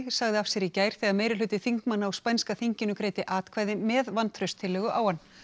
sagði af sér í gær þegar þingmanna á spænska þinginu greiddi atkvæði með vantrauststillögu á hann